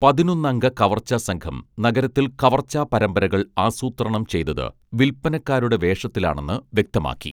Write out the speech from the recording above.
പതിനൊന്ന് അംഗ കവർച്ച സംഘം നഗരത്തിൽ കവർച്ചാപരമ്പരകൾ ആസൂത്രണം ചെയ്തത് വില്പനക്കാരുടെ വേഷത്തിലാണെന്ന് വ്യക്തമാക്കി